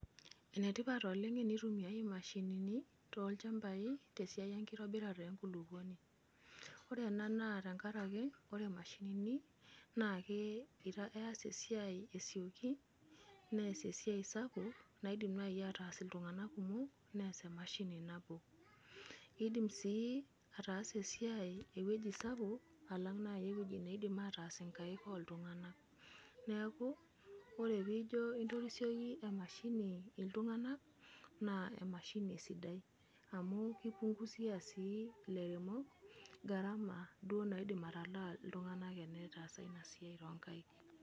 Enetipat oleng tenitumia mashinini tolchambai tesiai enkitobirare enkulukuoni ore ena naa tenkaraki ore mashinini nake eas esiai esioki neas esiai sapuk naidim nai ataas ltunganak kumok neas emashini nabo indim sii ataasa esiai ewueji sapuk alang nai uweuji naindim ataaas nkaik oltunganak neaku ore pijo intorisioki emashini ltunganak na emashini esidai, amu kipunguziabsi duo lairemok garama naidim atalaa ltunganak tenetaasa enasiai tonkaik.